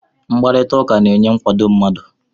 Mkparịta ụka na-enye nkwado mmadụ